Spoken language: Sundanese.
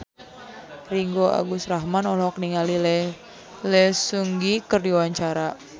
Ringgo Agus Rahman olohok ningali Lee Seung Gi keur diwawancara